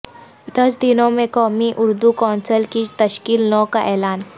دس دنوں میں قومی اردو کونسل کی تشکیل نو کا اعلان